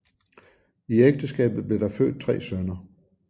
I ægteskabet blev der født tre sønner